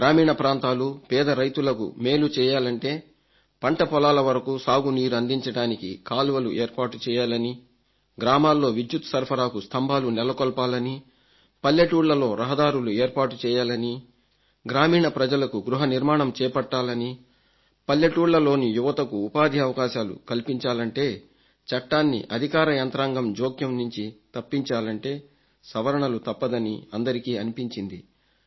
గ్రామీణ ప్రాంతాలు పేద రైతులకు మేలు చేయాలంటే పంట పొలాల వరకు సాగు నీరందించడానికి కాలువలు ఏర్పాటుచేయాలనీ గ్రామాల్లో విద్యుత్ సరఫరాకు స్తంభాలు నెలకొల్పాలనీ పల్లెటూళ్లలో రహదారులు ఏర్పాటుచేయాలనీ గ్రామీణ ప్రజలకు గృహ నిర్మాణం చేపట్టాలనీ పల్లెటూళ్లలోని యువతకు ఉపాధి కోసం అవకాశాలు కల్పించాలంటే చట్టాన్ని అధికార యంత్రాంగం జోక్యం నుంచి తప్పించాలంటే సవరణలు తప్పదనీ అందరికీ అనిపించింది